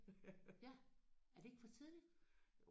Okay. Ja. Er det ikke for tidligt?